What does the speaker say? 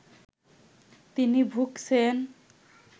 তিনি ভুগছেন